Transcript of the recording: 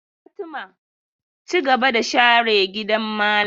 Fatima, cigaba da sharar gidan malam!